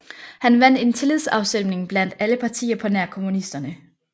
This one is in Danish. Han vandt en tillidsafstemning blandt alle partier på nær kommunisterne